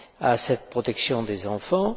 à cette protection des enfants.